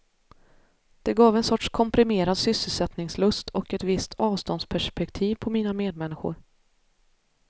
Det gav en sorts komprimerad sysselsättningslust och ett visst avståndsperspektiv på mina medmänniskor.